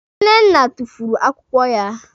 Nnenne tufuru akwụkwọ ya.